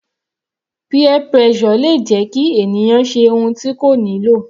Peer pressure le jẹ́ kí ènìyàn ṣe ohun tí kò nílò.